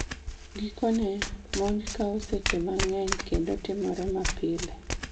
Gikone, monj kawo seche ma ng'eny kendo timore mapile